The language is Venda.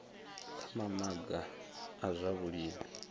kha mamaga a zwa vhulimi